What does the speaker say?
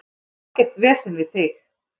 Ég vil ekkert vesen við þig.